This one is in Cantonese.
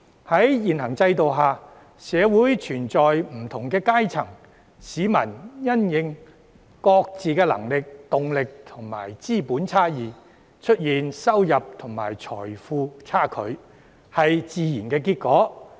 "在現行制度下，社會存在不同階層，市民因應各自的能力、動力和資本差異，出現收入和財富差距是自然的結果。